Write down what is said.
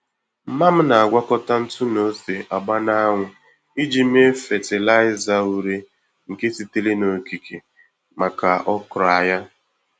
Mma m na-agwakọta ntụ na ose agba na-anwu iji mee fatịlaịza ure nke sitere n' okike maka okra ya.